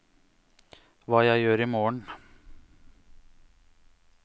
hva gjør jeg imorgen